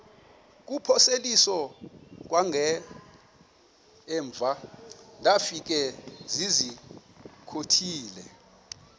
kuphosiliso kwangaemva ndafikezizikotile